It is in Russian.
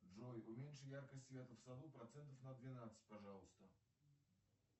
джой уменьши яркость света в саду процентов на двенадцать пожалуйста